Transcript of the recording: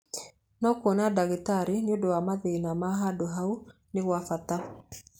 No kwona ndagĩtarĩ nĩũndũ wa mathĩna ma handũ hau nĩ kwa bata.